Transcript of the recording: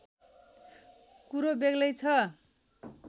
कुरो बेग्लै छ